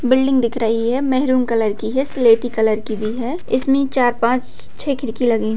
building दिख रही है मैरून कलर की है सलेटी कलर की भी है इसमें चार पाँच छे खिड़की लगी --